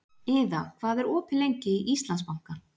Iða, hvað er opið lengi í Íslandsbanka?